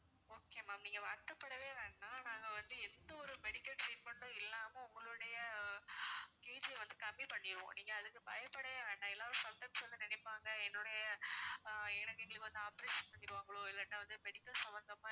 okay ma'am நீங்க வருத்தப்படவே வேண்டாம் நாங்க வந்து எந்த ஒரு medical treatment உம் இல்லாம உங்களுடைய KG ய வந்து கம்மி பண்ணிடுவோம் நீங்க அதுக்கு பயப்படவே வேண்டாம் எல்லாமே sometimes நினைப்பாங்க எங்களுடைய எங்களுக்கு வந்து operation பண்ணிடுவாங்களோ இல்லன்னா வந்து medical சம்மந்தம்மா